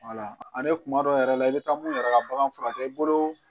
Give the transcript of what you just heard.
ani kuma dɔw yɛrɛ la i bɛ taa mun yɛrɛ ka bagan furakɛ i bolo